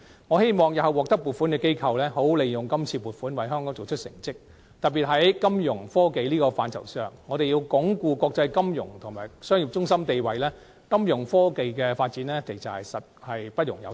我希望日後獲得撥款的機構會好好利用撥款，為香港做出成績，特別是在金融科技的範疇上，我們需要鞏固國際金融及商業中心地位，金融科技的發展實在不容有失。